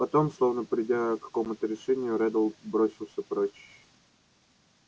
потом словно придя к какому-то решению реддл бросился прочь